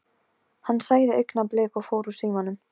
Hann sagði augnablik og fór úr símanum.